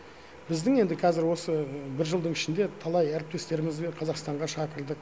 біздің енді қазір осы бір жылдың ішінде талай әріптестерімізбен қазақстанға шақырдық